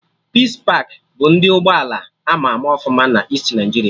Peace pakị bụ ndị ụgbọ ala ama ama ọfụma na Easti Naịjiria